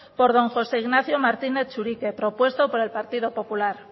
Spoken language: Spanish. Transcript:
por don jose ignacio martínez churiaque propuesto por el partido popular